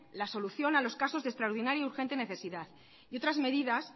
la solución a los casos de extraordinaria urgente necesidad y otras medidas